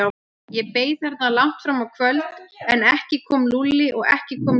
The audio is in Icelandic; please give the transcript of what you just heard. Ég beið þarna langt fram á kvöld, en ekki kom Lúlli og ekki kom lyftan.